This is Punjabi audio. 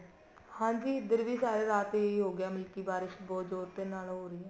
ਹਾਂਜੀ ਇੱਧਰ ਵੀ ਸਾਰੀ ਰਾਤ ਹੀ ਹੋ ਗਿਆ ਮਤਲਬ ਕੀ ਬਾਰਿਸ਼ ਬਹੁਤ ਜੋਰ ਦੇ ਨਲ ਹੋ ਰਹੀ ਐ